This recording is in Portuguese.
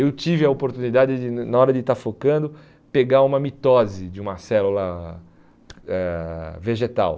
Eu tive a oportunidade de, na hora de estar focando, pegar uma mitose de uma célula eh vegetal.